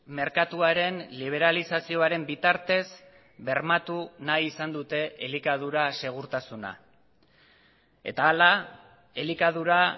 merkatuaren liberalizazioaren bitartez bermatu nahi izan dute elikadura segurtasuna eta hala elikadura